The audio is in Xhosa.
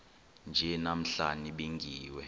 nje namhla nibingiwe